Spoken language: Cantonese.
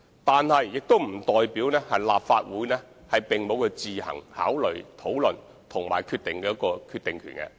但是，這並不代表立法會沒有自行作出考慮、討論和決定的權力。